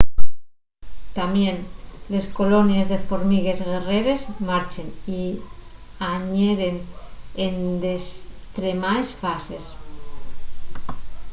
tamién les colonies de formigues guerreres marchen y añeren en destremaes fases